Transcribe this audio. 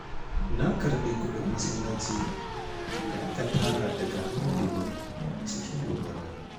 Na karɓi kuɗin masallaci da aka tara daga hannun Liman cikin lumana